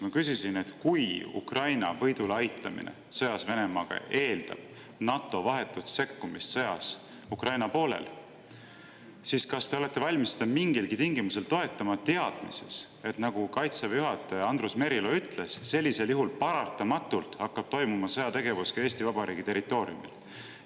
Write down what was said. Ma küsisin, et kui Ukraina võidule aitamine sõjas Venemaaga eeldab NATO vahetut sekkumist sõtta Ukraina poolel, siis kas te olete valmis seda mingilgi tingimusel toetama, teades, nagu Kaitseväe juhataja Andrus Merilo ütles, et sellisel juhul hakkab sõjategevus paratamatult toimuma ka Eesti Vabariigi territooriumil.